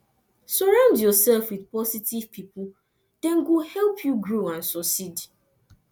surround yourself with positive pipo dem go help you grow and succeed